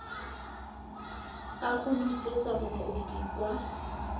a go busetsa mokopi kwa